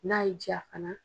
N'a y'i jaa fana.